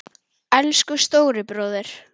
Elsku stóri bróðir.